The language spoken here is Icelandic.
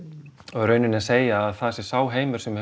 og í rauninni segja að það sé sá heimur sem